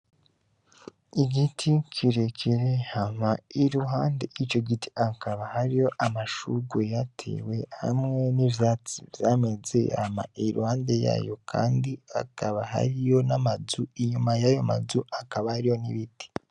Igiti kirekere hama iruhande ico giti akaba hariyo amashuge yatewe hamwe n'ivyatsi vyameze ama iluhande yayo, kandi akaba hariyo n'amazu inyuma yayo mazu akaba ari yo n'ibiti.